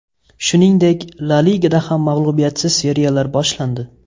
Shuningdek, La Ligada ham mag‘lubiyatsiz seriyalar boshlandi.